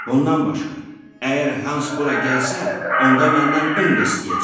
Bundan başqa, əgər Hans bura gəlsə, onda məndən un da istəyəcək.